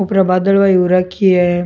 ऊपरी बादल हो रखी है।